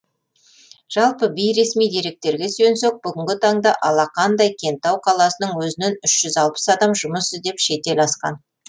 жалпы бейресми деректерге сүйенсек бүгінгі таңда алақандай кентау қаласының өзінен үш жүз алпыс адам жұмыс іздеп шетел асқан